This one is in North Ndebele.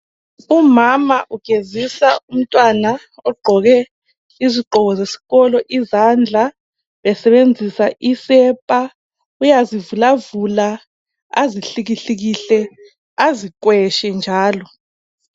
Umama ugezida umntwana izandla ogqoke iyunifomu efake isepa uyazivulavula ,azikhangele azikweshe njalo .